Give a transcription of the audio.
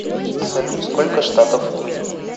салют сколько штатов в индии